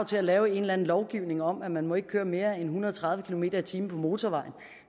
til at lave en eller anden lovgivning om at man ikke må køre mere end en hundrede og tredive kilometer per time på motorvejen